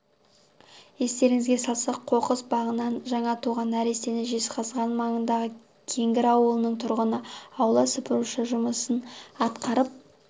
естеріңізге салсақ қоқыс багынан жаңа туған нәрестені жезқазған маңындағы кеңгір ауылының тұрғыны аула сыпырушы жұмысын атқарып